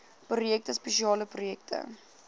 projekte spesiale projekte